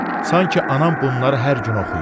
Sanki anam bunları hər gün oxuyur.